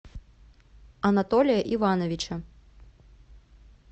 анатолия ивановича